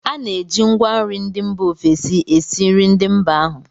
A na-eji ngwanri ndị mba ofesi esi nri ndị mba ahụ